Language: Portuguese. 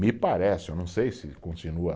Me parece, eu não sei se continua.